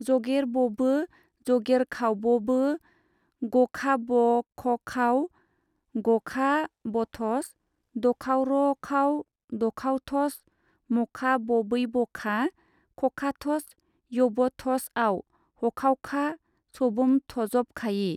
जगेरबबो जगेरखावबबो गखाबखखाव-गखाबथस दखावरखाव-दखावथस मखाबबैबखा खखाथस-यबथस आव-हखावखा सबोमथजबखायि।